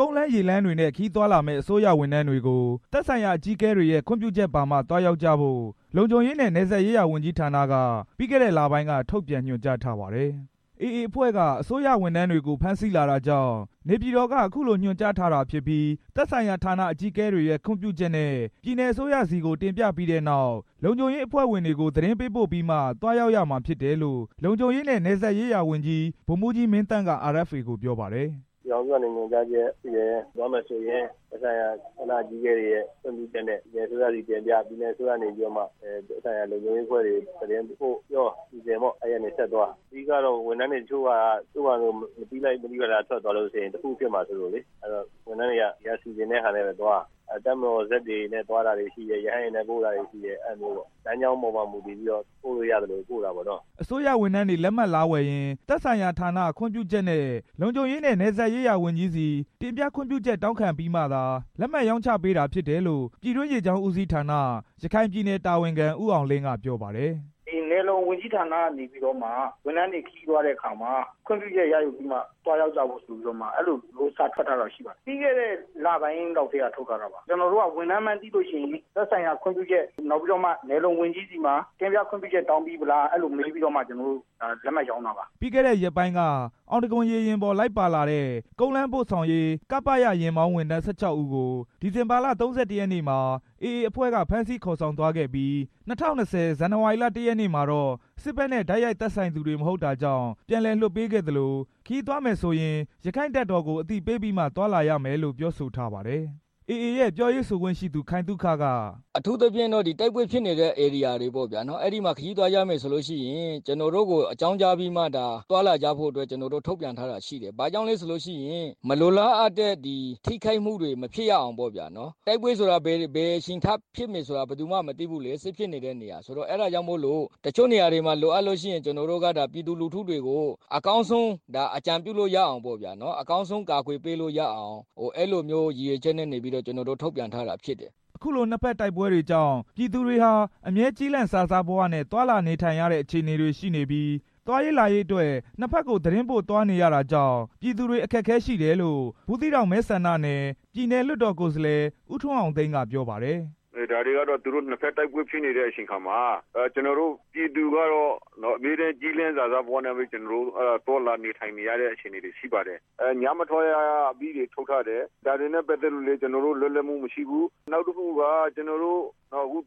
ကုန်းလမ်း၊ ရေလမ်းတွေနဲ့ ခရီးသွားလာမယ့် အစိုးရဝန်ထမ်းတွေကို သက်ဆိုင်ရာ ဌာနအကြီးအကဲတွေရဲ့ ခွင့်ပြုချက်ပါမှ သွားရောက်ကြဖို့ လုံခြုံရေးနဲ့ နယ်စပ်ရေးရာဝန်ကြီးဌာနကပြီး ခဲ့တဲ့လပိုင်းက ထုတ်ပြန်ညွှန်ကြားထားပါတယ်။ AA အဖွဲ့က အစိုးရဝန်ထမ်းတွေကို ဖမ်းဆီးလာတာကြောင့် နေပြည်တော်က အခုလို ညွှန်ကြားထားတာဖြစ်ပြီး သက်ဆိုင်ရာ ဌာနအကြီးအကဲတွေရဲ့ ခွင့်ပြုချက်နဲ့ ပြည်နယ်အစိုးရဆီကို တင်ပြပြီးနောက် လုံခြုံရေးအဖွဲ့တွေကို သတင်းပို့ပြီးမှာ သွားရောက်ရမှာဖြစ်တယ်လို့ လုံခြုံရေးနဲ့ နယ်စပ်ရေးရာဝန်ကြီး ဗိုလ်မှူးကြီး မင်းသန့်က RFA ကို ပြောပါတယ်။ “ပြည်ထောင်စုကနေ ညွှန်ကြားချက်ရှိတယ်။ ခရီးသွားမယ်ဆိုရင် သက်ဆိုင်ရာ ဌာနအကြီးအကဲတွေရဲ့ ခွင့်ပြုချက်နဲ့ ပြည်နယ်အစိုးရဆီ တင်ပြ ပြည်နယ်အစိုးရကနေမှ သက်ဆိုင်ရာ လုံခြုံရေးအဖွဲ့တွေ သတင်းပို့၊ ပြော၊ စီစဉ်ပေါ့၊ အဲဒီကနေ ဆက်သွားပေါ့။ အဓိကကတော့ ဝန်ထမ်းတွေ တချို့ဟာက သူဟာသူ မသိလိုက် မသိဘာသာ ထွက်သွားလို့ရှိရင် တစ်ခုခုဖြစ်မှာစိုးလို့လေ။ အဲဒီတော့ ဝန်ထမ်းတွေက ဒီက စီစဉ်တဲ့ဟာနဲ့ပဲသွား။ တပ်မတော် ဇက်သင်္ဘောတွေနဲ့ သွားတာတွေရှိတယ်။ ရဟတ်ယာဉ်နဲ့ပို့တာတွေရှိတယ်။ လမ်းကြောင်းပေါ်မှာ မူတည်ပြီးတော့ ပို့လို့ရသလို ပို့တာပေါ့နော်။” အစိုးရဝန်ထမ်းတွေ လက်မှတ်လာဝယ်ရင် သက်ဆိုင်ရာဌာနခွင့်ပြုချက်နဲ့ လုံခြုံရေးနဲ့ နယ်စပ်ရေးရာ ဝန်ကြီးဆီ တင်ပြခွင့်ပြုချက် တောင်းခံပြီးမှာသာ လက်မှတ် ရောင်းချပေးတာဖြစ်တယ်လို့ ပြည်တွင်းရေကြောင်းဦးစီးဌာန ရခိုင်ပြည်နယ်တာဝန်ခံ ဦးအောင်လင်းက ပြောပါတယ်။ “ဒီနယ်လုံဝန်ကြီးဌာနကနေ ပြီးတော့မှ ဝန်ထမ်းတွေ ခရီးသွားတဲ့အခါမှာ ခွင့်ပြုချက်ရယူပြီးမှ သွားရောက် ကြဖို့ဆိုပြီး အဲလို စာထွက်ထားတာရှိပါတယ်။ ပြီးခဲ့တဲ့ လပိုင်းလောက်ကတည်းက ထုတ်ထားတာပါ။ ကျွန်တော်တို့က ဝန်ထမ်းမှန်းသိလို့ရှိရင် သက်ဆိုင်ရာခွင့်ပြုချက် နောက်ပြီးတော့မှ နယ်လုံဝန်ကြီးဆီမှာ တင်ပြ ခွင့်ပြုချက် တောင်းပြီးပြီလား အဲဒီလို မေးပြီးတော့မှ ကျွန်တော်တို့ လက်မှတ်ရောင်းတာပါ။” ပြီးခဲ့တဲ့ ရက်ပိုင်းက အောင်တံခွန်ရေယာဉ်ပေါ် လိုက်ပါလာတဲ့ ကုန်လမ်းပို့ဆောင်ရေး(ကပရ) ယာဉ်မောင်း ဝန်ထမ်း ၁၆ ဦးကို ဒီဇင်ဘာလ ၃၁ ရက်နေ့မှာ AA အဖွဲ့က ဖမ်းဆီးခေါ်ဆောင်သွားခဲ့ပြီး ၂၀၂၀ ခုနှစ် ဇန်နဝါရီလ ၁ ရက်နေ့မှာတော့ စစ်ဘက်နဲ့ တိုက်ရိုက်သက်ဆိုင်သူတွေ မဟုတ်တာ ကြောင့် ပြန်လည်လွှတ်ပေးခဲ့သလို ခရီးသွားမယ်ဆိုရင် ရက္ခိုင့်တပ်တော်ကို အသိပေးပြီးမှ သွားလာ ရမယ်လို့လည်း ပြောဆိုထားပါတယ်။ AA ရဲ့ ပြောရေးဆိုခွင့်ရှိသူ ခိုင်သုခက “အထူးသဖြင့် တိုက်ပွဲဖြစ်ပွားနေတဲ့ ဧရိယာတွေပေါ့ဗျာ ။ အဲဒီမှာ ခရီးသွားကြမယ်ဆိုလို့ရှိရင် ကျွန်တော်တို့ကို အကြောင်းကြားပြီးမှ သွားလာကြဖို့အတွက် ထုတ်ပြန်ထားတာရှိတယ်။ ဘာကြောင့်လဲဆိုလို့ရှိရင် မလိုလားအပ်တဲ့ ထိခိုက်မှုတွေ မဖြစ်ရအောင်ပေါ့ဗျာ၊ တိုက်ပွဲဆိုတာ ဘယ်အချိန်ထဖြစ်မယ်ဆိုတာ ဘယ်သူမှ မသိဘူးလေ၊ စစ်ဖြစ်နေတာဆိုတော့ အဲဒါကြောင့်မို့လို့ တချို့နေရာတွေမှာ လိုအပ်လို့ရှိရင် ကျွန်တော်တို့က အကောင်းဆုံး အကာအကွယ်ပေးလို့ရအောင် အဲလိုမျိုးရည်ရွယ်ချက်နဲ့ ကျွန်တော်တို့ ထုတ်ပြန်ထားတာ ဖြစ်တယ်။” လို့ပြောပါတယ် အခုလို နှစ်ဘက် တိုက်ပွဲတွေကြောင့် ပြည်သူတွေဟာ အမြဲ ကျီးလန့်စာစားဘဝနဲ့ သွားလာနေထိုင်ရတဲ့ အခြေအနေတွေရှိနေပြီး သွားရေးလာရေးအတွက် နှစ်ဘက်ကို သတင်းပို့ သွားနေရတယ်ဆိုတော့ ပြည်သူတွေ အခက်အခဲရှိတယ်လို့ ဘူးသီးတောင်မဲဆန္ဒနယ် ပြည်နယ်လွှတ်တော်ကိုယ်စားလှယ် ဦးထွန်းအောင်သိန်းက ပြောပါတယ်။ “ဒါတွေကတော့ သူတို့ နှစ်ဘက်တိုက်ပွဲဖြစ်နေတဲ့ အချိန်အခါမှာ ကျွန်တော်တို့ ပြည်သူကတော့ အမြဲတမ်း ကျီးလန့်စာစားဘဝနဲ့ သွားလာနေထိုင်နေရတဲ့ အခြေအနေတွေရှိပါတယ်။ ညမထွက်ရ အမိန့်တွေ ထုတ်ထားတယ်။ ဒါတွေနဲ့ ပတ်သက်လို့လည်း ကျွန်တော်တို့ လွတ်လပ်မှုမရှိဘူး။ နောက်တစ်ခုက ကျွန်တော်တို့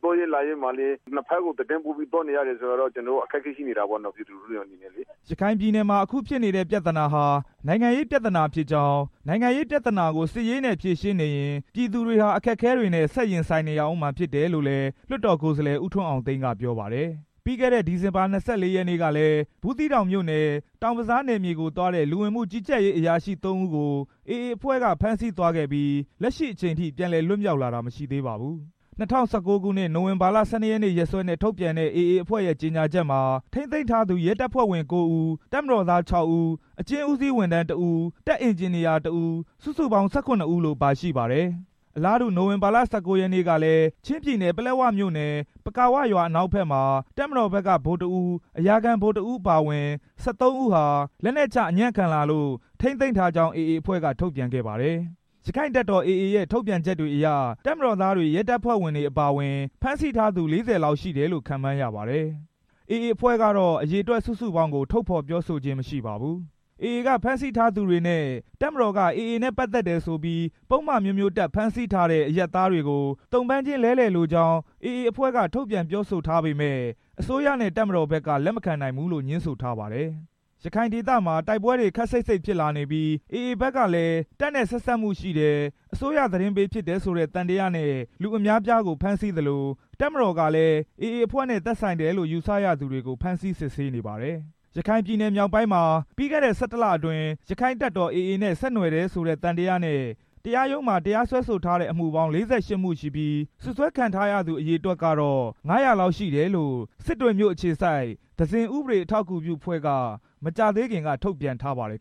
သွားရေးလာရေးမှာလည်း နှစ်ဘက်ကို သတင်းပို့ပြီး သွားနေရတယ်ဆိုတော့ ကျွန်တော်တို့ အခက်အခဲရှိနေတာပေါ့ ပြည်သူလူထုတွေအနေနဲ့လေ” ရခိုင်ပြည်နယ်မှာ အခုဖြစ်နေတဲ့ ပြဿနာဟာ နိုင်ငံရေးပြဿနာဖြစ်ကြောင်း၊ နိုင်ငံရေးပြဿနာကို စစ်ရေးနဲ့ ဖြေရှင်းနေရင် ပြည်သူတွေဟာ အခက်အခဲတွေနဲ့ ဆက်ရင်နေဦးမှာဖြစ်တယ်လို့လည်း လွှတ်တော်ကိုယ်စားလှယ် ဦးထွန်းအောင်သိန်းက ပြောပါတယ်။ ပြီးခဲ့တဲ့ ဒီဇင်ဘာလ ၂၄ ရက်နေ့ကလည်း ဘူးသီးတောင်မြို့နယ် တောင်ဘဇာနယ်မြေကိုသွားတဲ့ လူဝင်မှု ကြီးကြပ်ရေးအရာရှိ သုံးဦးကို AA အဖွဲ့က ဖမ်းဆီးသွားခဲ့ပြီး လက်ရှိအချိန်အထိ ပြန်လည်လွှတ်မြောက်လာတာ မရှိသေးပါဘူး။ ၂၀၁၉ နိုဝင်ဘာလ ၁၂ ရက်စွဲနဲ့ ထုတ်ပြန်တဲ့ AA အဖွဲ့ရဲ့ ကြေညာချက်မှာ AA အဖွဲ့က ထိန်းသိမ်းထားသူ ရဲတပ်ဖွဲ့ဝင် ကိုးဦး၊ တပ်မတော်သား ခြောက်ဦး၊ အကျဉ်းဦးစီးဝန်ထမ်း တစ်ဦး၊ တပ်အင်ဂျင်နီယာ တစ်ဦး စုစုပေါင်း ၁၇ ဦးလို့ပါရှိပါတယ်။ အလားတူ နိုဝင်ဘာလ ၁၉ ရက်နေ့ကလည်း ချင်းပြည်နယ် ပလက်ဝမြို့နယ် ပကာဝရွာ အနောက်ဘက်မှာ တပ်မတော်ဘက်က ဗိုလ်တစ်ဦး၊ အရာခံဗိုလ်တစ်ဦးအပါအဝင် ၁၃ ဦးဟာ လက်နက်ချ အညံ့ခံလာလို့ ထိန်းသိမ်းထားကြောင်း AA အဖွဲ့က ထုတ်ပြန်ခဲ့ပါတယ်။ ရက္ခိုင့်တပ်တော် AA ရဲ့ ထုတ်ပြန်ချက်တွေအရ တပ်မတော်သားတွေ၊ ရဲတပ်ဖွဲ့ဝင်တွေ အပါအဝင် ဖမ်းဆီးထားသူ ၄၀ လောက်ရှိတယ်လို့ ခန့်မှန်းရပါတယ်။ AA အဖွဲ့ကတော့ အရေအတွက် စုစုပေါင်းကို ထုတ်ဖော်ပြောဆိုခြင်း မရှိပါဘူး။ AA က ဖမ်းဆီးထားသူတွေနဲ့ တပ်မတော်က AA နဲ့ ပတ်သက်တယ်ဆိုပြီး ပုဒ်မအမျိုးမျိုးတပ် ဖမ်းဆီးထားတဲ့ အရပ်သားတွေကို သုံ့ပန်းချင်း လဲလှယ်လိုကြောင်း AA အဖွဲ့က ထုတ်ပြန်ခဲ့ ပြောဆိုထားပေမယ့် အစိုးရနဲ့ တပ်မတော်ဘက်က လက်မခံနိုင်ဘူးလို့ ငြင်းဆိုထားပါတယ်။ ရခိုင်ဒေသမှာ တိုက်ပွဲ ခပ်စိတ်စိတ် ဖြစ်လာနေပြီး AA ဘက်ကလည်း တပ်နဲ့ ဆက်စပ်မှုရှိတယ်၊ အစိုးရသတင်းပေး ဖြစ်တယ် ဆိုတဲ့ သံသယနဲ့ လူအများအပြားကို ဖမ်းဆီးသလို တပ်မတော်ကလည်း AA အဖွဲ့နဲ့ သက်ဆိုင်တယ်လို့ ယူဆရသူတွေကို ဖမ်းဆီးစစ်ဆေးနေပါတယ်။ ရခိုင်ပြည်နယ်မြောက်ပိုင်းမှာ ပြီးခဲ့တဲ့ ၁၁ လ အတွင်း ရက္ခိုင့်တပ်တော် AA နဲ့ ဆက်နွယ်တယ်ဆိုတဲ့ သံသယနဲ့ တရားရုံးမှာ စွဲဆိုထားတဲ့ အမှုပေါင်း ၄၈ မှုရှိပြီး စွပ်စွဲခံထားရသူ အရေအတွက်ကတော့ ၅၀၀ လောက် ရှိတယ်လို့ စစ်တွေမြို့ အခြေစိုက် သဇင်-ဥပဒေ အထောက်အကူပြုအဖွဲ့က မကြာသေးခင်က ထုတ်ပြန်ထားပါတယ်